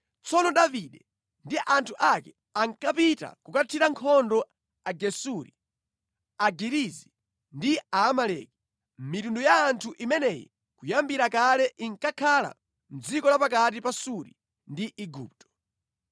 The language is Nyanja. Tsono Davide ndi anthu ake ankapita kukathira nkhondo Agesuri, Agirizi ndi Aamaleki. (Mitundu ya anthu imeneyi kuyambira kale inkakhala mʼdziko la pakati pa Suri ndi Igupto).